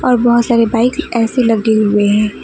और बहुत सारे बाइक ऐसे लगे हुए हैं।